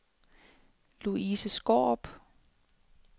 Louise Skaarup